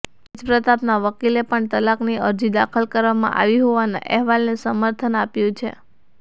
તેજ પ્રતાપના વકીલે પણ તલાકની અરજી દાખલ કરવામાં આવી હોવાના અહેવાલને સમર્થન આપ્યું છે